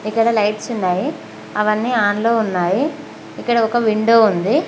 ఇక్కడ లైట్స్ ఉన్నాయి అవ్వనీ ఆన్ లో ఉన్నాయి ఇక్కడ ఒక విండో ఉంది.